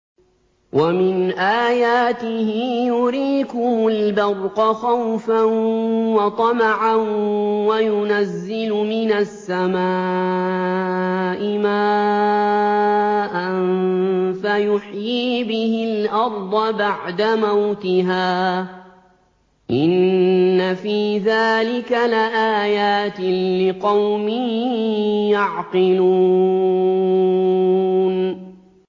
وَمِنْ آيَاتِهِ يُرِيكُمُ الْبَرْقَ خَوْفًا وَطَمَعًا وَيُنَزِّلُ مِنَ السَّمَاءِ مَاءً فَيُحْيِي بِهِ الْأَرْضَ بَعْدَ مَوْتِهَا ۚ إِنَّ فِي ذَٰلِكَ لَآيَاتٍ لِّقَوْمٍ يَعْقِلُونَ